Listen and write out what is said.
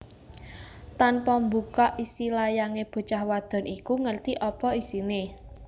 Tanpa mbuka isi layange bocah wadon iku ngerti apa isine